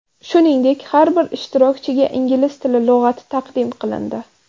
Shuningdek, har bir ishtirokchiga ingliz tili lug‘ati taqdim qilindi.